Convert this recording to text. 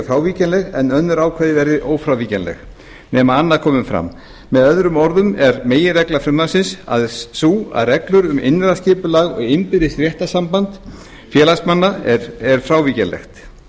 frávíkjanleg en önnur ákvæði verða ófrávíkjanleg nema annað komi fram með öðrum orðum er meginregla frumvarpsins sú að reglur um innra skipulag og innbyrðis réttarsamband félagsmanna eru frávíkjanlegar